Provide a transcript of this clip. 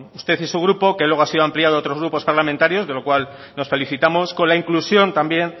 usted y su grupo que luego ha sido ampliado a otros grupos parlamentarios de lo cual nos felicitamos con la inclusión también